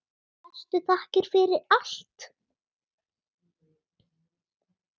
Bestu þakkir fyrir allt.